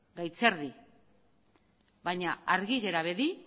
gaitz erdi baina argi gera bedi